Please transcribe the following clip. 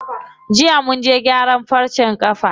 Jiya munje gyaran farcen ƙafa.